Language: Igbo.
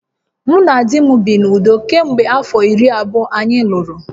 Mụ na di m bi n’udo kemgbe afọ iri abụọ anyị lụrụ